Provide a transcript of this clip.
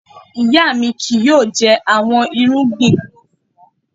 Iya mi kii yoo jẹ awọn irugbin glove mọ.